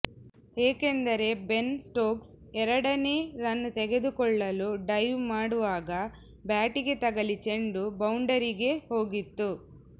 ಏಕೆಂದರೆ Ben Stokes ಎರಡನೇ run ತೆಗೆದುಕೊಳ್ಳಲು ಡೈವ್ ಮಾಡುವಾಗ ಬ್ಯಾಟಿಗೆ ತಗಲಿ ಚೆಂಡು ಬೌಂಡರಿಗೆ ಹೋಗಿತ್ತು